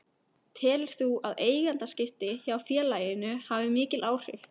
Telur þú að eigendaskipti hjá félaginu hafa mikil áhrif?